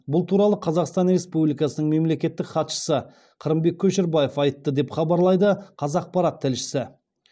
бұл туралы қазақстан республикасының мемлекеттік хатшысы қырымбек көшербаев айтты деп хабарлайды қазақпарат тілшісі